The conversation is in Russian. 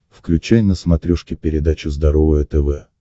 включай на смотрешке передачу здоровое тв